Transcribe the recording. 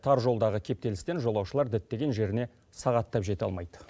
тар жолдағы кептелістен жолаушылар діттеген жеріне сағаттап жете алмайды